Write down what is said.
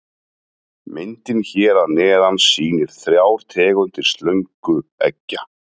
Myndin hér að neðan sýnir þrjár tegundir slöngueggja.